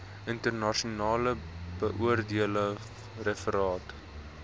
internasionaal beoordeelde referate